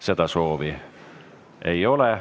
Seda soovi ei ole.